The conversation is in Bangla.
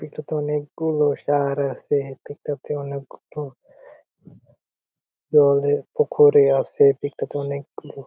এটাতে অনেক গুলো তার আছে | অনেকগুলো আছে | এটাতে অনেকগুলো --